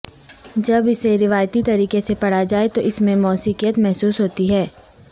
جب اسے روایتی طریقے سے پڑھا جائے تو اس میں موسیقیت محسوس ہوتی ہے